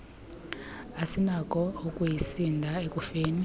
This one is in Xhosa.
asinakho ukuyisindisa ekufeni